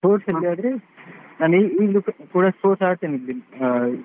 Sports ಅಲ್ಲಿ ಆದ್ರೆ ನಾನ್ ಈಗಲೂ ಕೂಡ sports ಆಡ್ತೇನೆ.